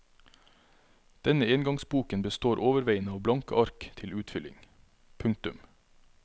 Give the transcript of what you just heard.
Denne engangsboken består overveiende av blanke ark til utfylling. punktum